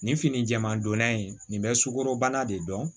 Nin fini jɛman donna in nin bɛ sukoro bana de dɔn